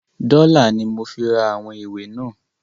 “Dọ́là"ni mo fi ra àwọn ìwé náà.